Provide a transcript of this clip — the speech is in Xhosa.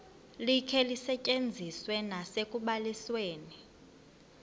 likhe lisetyenziswe nasekubalisweni